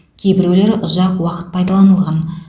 кейбіреулері ұзақ уақыт пайдаланылған